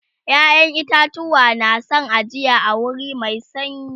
ƴaƴan itatuwa na San ajiya a wuri Mai sanyi